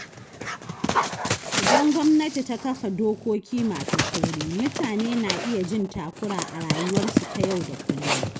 Idan gwamnati ta kafa dokoki masu tsauri, mutane na iya jin takura a rayuwarsu ta yau da kullum.